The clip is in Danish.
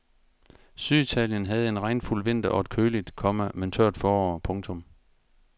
Syditalien havde en regnfuld vinter og et køligt, komma men tørt forår. punktum